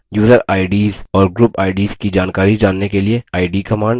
user ids और group ids की जानकारी जानने के लिए id command